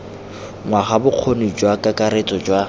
ngwaga bokgoni jwa kakaretso jwa